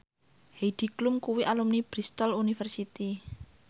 Heidi Klum kuwi alumni Bristol university